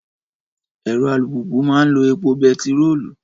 Ẹ̀rọ alùpùpù máa ń lo epo bẹtiróòlù